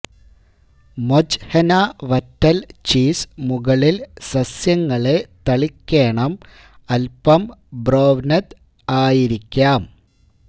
മൊജ്ഹ്നൊ വറ്റല് ചീസ് മുകളിൽ സസ്യങ്ങളെ തളിക്കേണം അല്പം ബ്രൊവ്നെദ് ആയിരിക്കാം